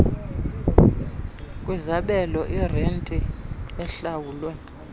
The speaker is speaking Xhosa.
kwizabelo irenti ehlawulwe